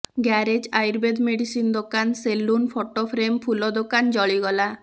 garage Ayurveda medicine ଦୋକାନ saloon photo frame ଫୁଲ ଦୋକାନ ଜଳିଗଲା